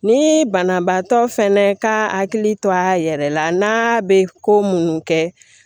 Ni banabaatɔ fɛnɛ ka hakili to a yɛrɛ la n'a bɛ ko minnu kɛ